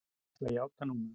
Ég ætla að játa núna.